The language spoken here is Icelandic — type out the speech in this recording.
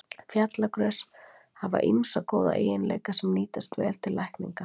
Fjallagrös hafa ýmsa góða eiginleika, sem nýtast vel til lækninga.